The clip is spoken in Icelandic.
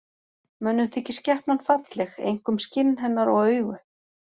Mönnum þykir skepnan falleg, einkum skinn hennar og augu.